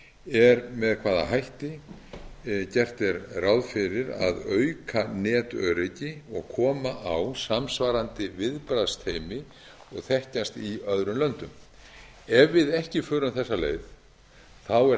er með hvaða hætti gert er ráð fyrir að auka netöryggi og koma á samsvarandi viðbragðsteymi og þekkjast í öðrum löndum ef við ekki förum þessa leið er hætt